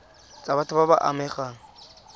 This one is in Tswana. tsa batho ba ba amegang